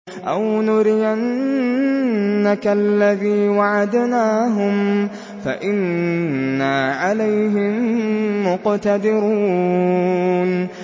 أَوْ نُرِيَنَّكَ الَّذِي وَعَدْنَاهُمْ فَإِنَّا عَلَيْهِم مُّقْتَدِرُونَ